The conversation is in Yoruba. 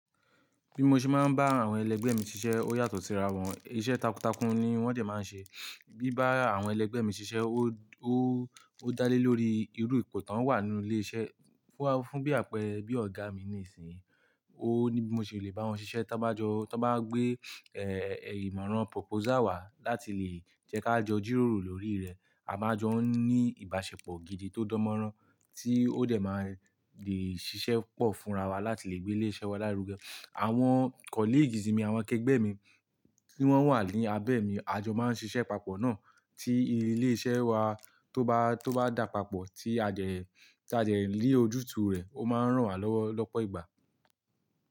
Bí mo ṣe máa ń bá àwọn ẹlẹgbẹ́ mi ṣiṣẹ́ ó yàtọ̀ síra wọn. Iṣẹ́ takuntakun ni wọ́n dẹ máa ń ṣe. Bí bá àwọn ẹlẹgbẹ́ mi ṣiṣẹ́, ó, ó, ó dálé lórí irú ipò tán wà nínú ilé iṣẹ́. Fún, fún bí àpẹẹrẹ bí ọ̀gá mi nísìínyi, ó ní bí mo ṣe lè bá wọn ṣiṣẹ́ ta bá jọ, tí wọ́n bá gbé, ẹ́, ìmọ̀ràn proposal wá láti lè jẹ́ kí a jọ jíròrò lórí rẹ̀. A máa jọ ń ní ìbáṣepọ̀ gidi tó dánmọ́rán tí ó dẹ́ máa lè ṣiṣẹ́ pọ̀ fúnra wa láti lè gbé ilé iṣẹ́ wa lárugẹ. Àwọn colleague mi, àwọn ẹgbẹ́ mi tí wọ́n wà ní abẹ́ mi, a jọ máa ń ṣiṣẹ́ papọ̀ náà tí ilé iṣẹ́ wa tó bá, tó bá dà papọ̀ tí a dẹ, tí a dẹ lè ojútùú rẹ̀, ó máa ń ràn wá lọ́wọ́ lọ́pọ̀ ìgbà.